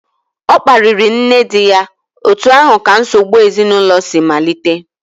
Ọ kparịrị nne di ya, otu ahụ ka nsogbu ezinụlọ si malite